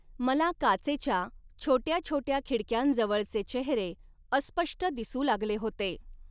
मला काचेच्या, छोट्या छोट्या खिडक्यांजवळचे चेहरे, अस्पष्ट दिसू लागले होते.